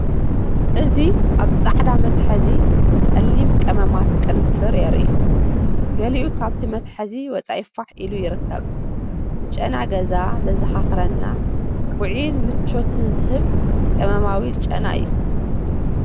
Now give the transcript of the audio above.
እዚ ኣብ ጻዕዳ መትሓዚ ጸሊም ቀመማት ቅንፍር የርኢ። ገሊኡ ካብቲ መትሓዚ ወጻኢ ፋሕ ኢሉ ይርከብ። ንጨና ገዛ ዘዘኻኽረና፣ ውዑይን ምቾትን ዝህብ ቀመማዊ ጨና እዩ።